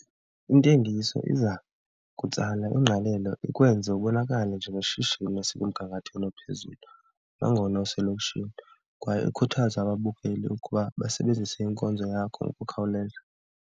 Intengiso iza kutsala ingqalelo, ikwenze ubonakale njengeshishini elisemgangathweni ophezulu nangona uselokishini kwaye ikhuthaza ababukeli ukuba basebenzise inkonzo yakho ngokukhawuleza.